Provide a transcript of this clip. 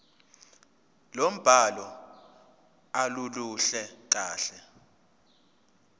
lombhalo aluluhle kahle